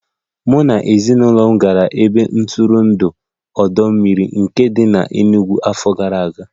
Mụ na ezinụlọ m gara ebe ntụrụndụ ọdọ mmiri Nike dị n'Enugu n'afọ gara aga